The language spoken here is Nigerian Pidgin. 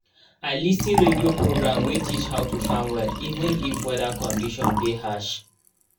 i lis ten radio program wey teach how to farm well even if weather condition dey harsh